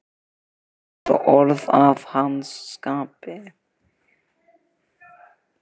Þetta voru orð að hans skapi.